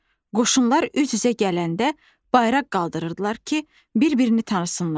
Qoşunlar üz-üzə gələndə bayraq qaldırırdılar ki, bir-birini tanısınlar.